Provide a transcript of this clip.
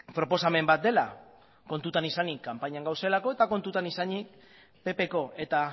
proposamen bat dela kontuan izanik kanpainan gaudelako eta kontutan izanik ppko eta